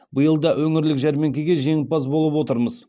биыл да өңірлік жәрмеңкеде жеңімпаз болып отырмыз